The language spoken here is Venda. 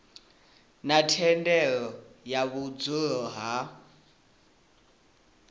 na thendelo ya vhudzulo ha